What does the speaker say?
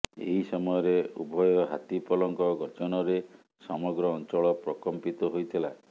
ଏହି ସମୟରେ ଉଭୟ ହାତୀପଲଙ୍କ ଗର୍ଜନରେ ସମଗ୍ର ଅଞ୍ଚଳ ପ୍ରକମ୍ପିତ ହୋଇଥିଲା